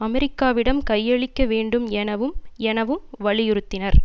அமெரிக்காவிடம் கையளிக்க வேண்டும் எனவும் எனவும் வலியுறுத்தினர்